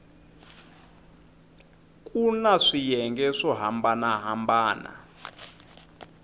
kuna swiyenge swo hambana hambana